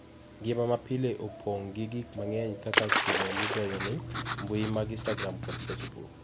Ngima mapile opong' gi gik mang'eny kaka simo migoyoni, mbui mag Instagram kod Facebook.